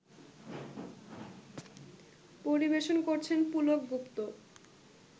পরিবেশন করছেন পুলক গুপ্ত